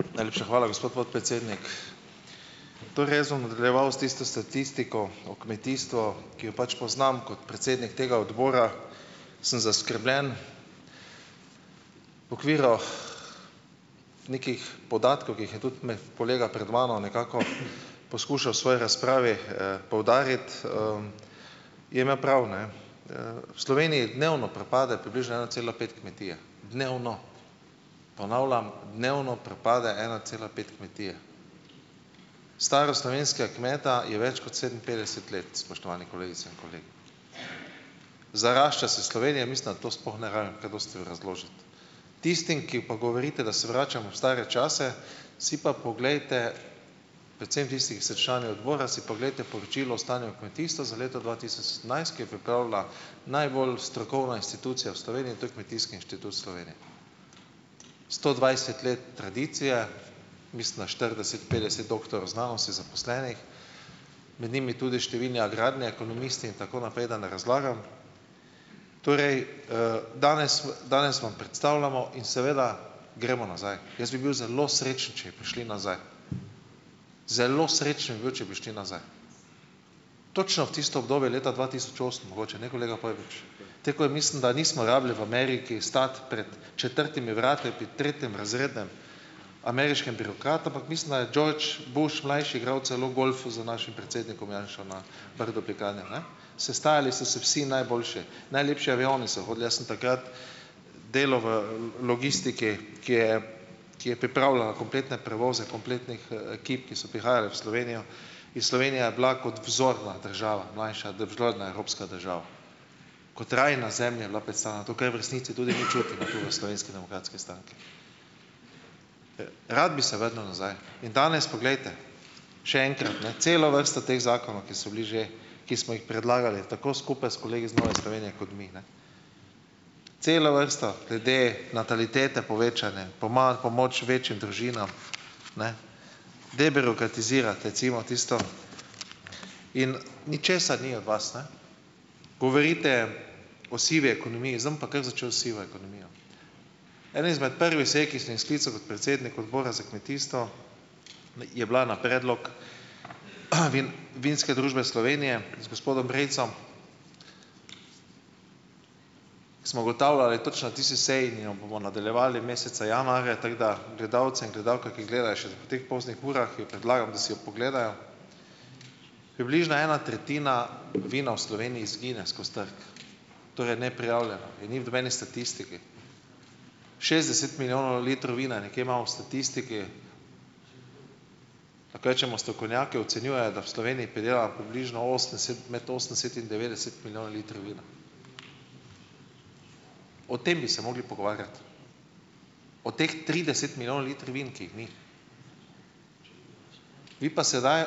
Najlepša hvala, gospod podpredsednik. Torej jaz bom nadaljeval s tisto statistiko o kmetijstvu, ki jo pač poznam kot predsednik tega odbora, sem zaskrbljen. V okvirih, nekih podatkov, ki jih je tudi med kolega pred mano nekako poskušal v svoji razpravi, poudariti, je imel prav, ne. V Sloveniji dnevno propade približno ena cela pet kmetije, dnevno. Ponavljam, dnevno propade ena cela pet kmetije. Starost slovenskega kmeta je več kot sedeminpetdeset let, spoštovani kolegice in kolegi. Zarašča se Slovenija. Mislim, da to sploh ne rabim kaj dosti razložiti. Tistim, ki pa govorite, da se vračamo v stare čase, si pa poglejte, predvsem tisti, ki ste člani obora, si poglejte poročilo o stanju v kmetijstvu za leto dva tisoč sedemnajst, ki je pripravila najbolj strokovna institucija v Sloveniji, to je Kmetijski inštitut Slovenije. Sto dvajset let tradicije, mislim da štirideset, petdeset doktorjev znanosti zaposlenih, med njimi tudi številni agrarni ekonomisti in tako naprej, da ne razlagam. Torej, danes danes vam predstavljamo in seveda gremo nazaj. Jaz bi bil zelo srečen, če bi prišli nazaj. Zelo srečen bi bil, če bi šli nazaj. Točno v tisto obdobje leta dva tisoč osem mogoče ne, koleg Pojbič? Takoj mislim, da nismo rabili v Ameriki stati pred četrtimi vrati pri tretjerazrednem ameriškemu birokratu, ampak mislim, da je George Bush Mlajši igral celo golf z našim predsednikom Janšo na Brdu pri Kranju, ne. Sestajali so se vsi najboljši, najlepši avioni so hodili. Jaz sem takrat delal v logistiki, ki je, ki je pripravljala kompletne prevoze kompletnih, ekip, ki so prihajale v Slovenijo in Slovenija je bila kot vzorna država mlajša, vzhodna evropska država. Kot raj na zemlji je bila predstavljena, to, kar mi v resnici tudi mi čutimo, tu v Slovenski demokratski stranki. Rad bi se vrnil nazaj. In danes poglejte, še enkrat, ne, celo vrsto teh zakonov, ki so bili že, ki smo jih predlagali, tako skupaj s kolegi iz Nove Slovenije kot mi, ne. Celo vrsto glede natalitete, povečane, pomoč večjim družinam. Ne. Debirokratizirati recimo tisto in ničesar ni od vas, ne. Govorite o sivi ekonomiji. Zdaj bom pa kar začel s sivo ekonomijo. Ena izmed prvih saj, ki sem jih sklical kot predsednik odbora za kmetijstvo je bila na predlog, Vinske družbe Slovenije z gospodom Brejcem. Smo ugotavljali točno na tisti seji in jo bomo nadaljevali meseca januarja, tako da gledalce in gledalke, ki gledajo še ob teh poznih urah, jim predlagam, da si jo pogledajo. Približno ena tretjina vina v Sloveniji izgine skozi trg. Torej neprijavljeno, ga ni v nobeni statistiki. Šestdeset milijonov litrov vina nekje imamo v statistiki. Lahko rečemo, strokovnjaki ocenjujejo, da v Sloveniji pridelamo približno osemdeset, med osemdeset in devetdeset milijonov litrov vina. O tem bi se mogli pogovarjati. o teh trideset milijonov litrov vina, ki jih ni. Vi pa sedaj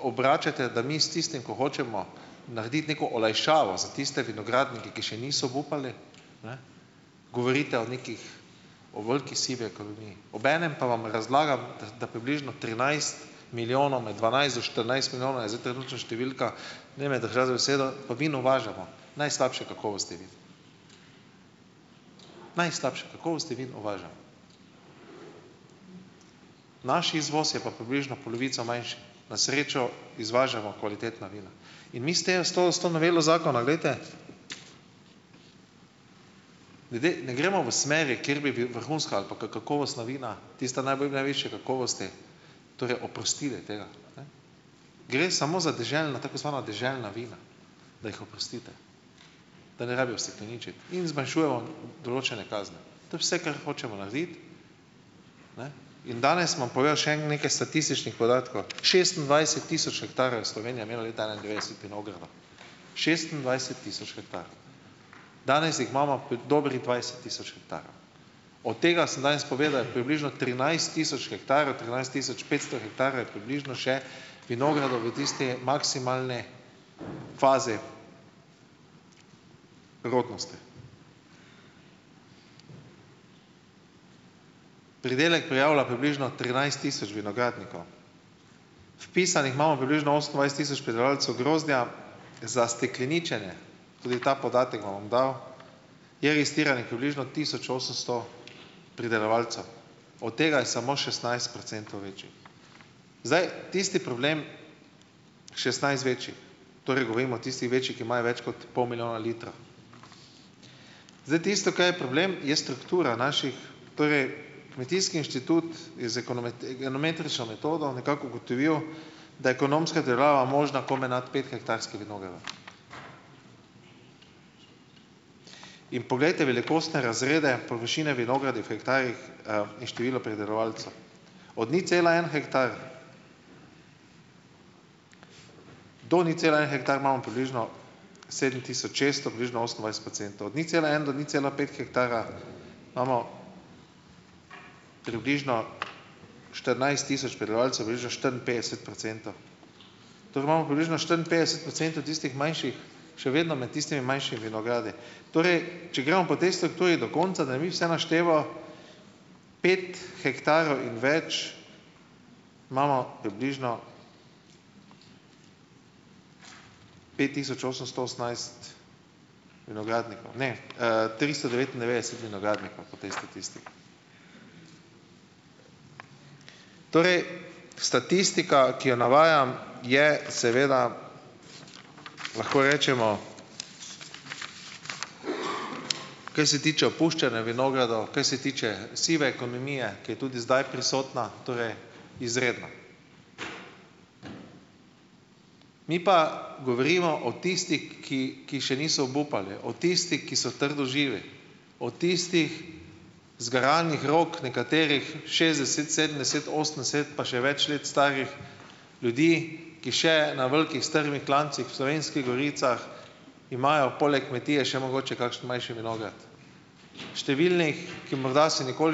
obračate, da mi s tistim, ko hočemo narediti neko olajšavo za tiste vinogradnike, ki še niso obupali, ne, govorite o neki, o veliki sivi ekonomiji, obenem pa vam razlagam, da da približno trinajst milijonov, med dvanajst do štirinajst milijonov je zdaj trenutna številka, ne me držati za besedo, pa vino uvažamo. Najslabše kakovosti vino. Najslabše kakovosti vino uvažamo. Naš izvoz je pa približno polovico manjši. Na srečo izvažamo kvalitetna vina. In mi s tem, s to, s to novelo zakona, glejte, ljudje, ne gremo v smeri, kjer bi vi vrhunska ali pa kakovostna vina, tista najbolj, najvišje kakovosti, torej oprostili tega. Ne. Gre samo za deželna, tako zvana deželna vina, da jih oprostite, da ne rabijo stekleničiti in zmanjšujemo določene kazni. To je vse, kar hočemo narediti, ne, in danes bom povedal še en nekaj statističnih podatkov. Šestindvajset tisoč hektarjev je Slovenija imela leta enaindevetdeset vinogradov. Šestindvajset tisoč hektarov. Danes jih imamo dobrih dvajset tisoč hektarjev. Od tega, sem danes povedal, je približno trinajst tisoč hektarjev, trinajst tisoč petsto hektarjev je približno še vinogradov v tisti maksimalni fazi rodnosti. Pridelek prijavlja približno trinajst tisoč vinogradnikov. Vpisanih imamo približno osemindvajset tisoč pridelovalcev grozdja za stekleničenje. Tudi ta podatek vam bom dal: je registriranih približno tisoč osemsto pridelovalcev. Ot tega je samo šestnajst procentov večjih. Zdaj, tisti problem, šestnajst večjih, torej govorimo o tistih večjih, ki imajo več kot pol milijona litrov. Zdaj tisto, kar je problem, je struktura naših, torej, kmetijski inštitut je z enometrično metodo nekako ugotovil, da je ekonomska obdelava možna komaj nad pethektarskim vinogradom. In poglejte velikostne razrede, površine vinogradih v hektarjih, in število pridelovalcev. Od nič cela en hektar - do nič cela en hektar imamo približno sedem tisoč šeststo, približno osemindvajset procentov. Od nič cela en do nič cela pet hektara imamo približno štirinajst tisoč prebivalcev, približno štiriinpetdeset procentov. Torej imamo približno štiriinpetdeset procentov tistih manjših, še vedno med tistimi manjšimi vinogradi. Torej, če gremo po tej strukturi do konca, da ne bi vse naštela, pet hektarjev in več imamo približno pet tisoč osemsto osemnajst vinogradnikov. Ne. tristo devetindevetdeset vinogradnikov po tej statistiki. Torej, statistika, ki jo navajam, je seveda, lahko rečemo, kaj se tiče opuščanja vinogradov, kaj se tiče sive ekonomije, ki je tudi zdaj prisotna, torej izredna. Mi pa govorimo o tistih, ki ki še niso obupali, o tistih, ki so trdoživi, o tistih zgaranih rok, nekaterih šestdeset, sedemdeset, osemdeset pa še več let starih ljudi, ki še na velikih strmih klancih v Slovenskih goricah imajo poleg kmetije še mogoče kakšen manjši vinograd. Številnih, ki morda se nikoli ...